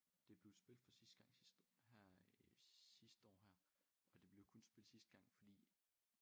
Det blev spillet for sidste gang sidste her sidste år her og det blev kun spillet sidste gang fordi